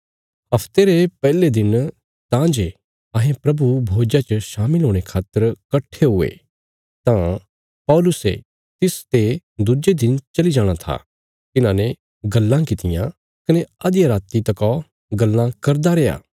हफ्ते रे पैहले दिन तां जे अहें प्रभु भोज्जा च शामिल होणे खातर कट्ठे हुये तां पौलुसे तिस जे दुज्जे दिन चली जाणा था तिन्हांने गल्लां कित्तियां कने अधिया राति तका गल्लां करदा रैया